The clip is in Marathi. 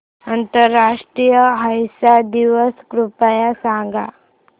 आंतरराष्ट्रीय अहिंसा दिवस कृपया सांगा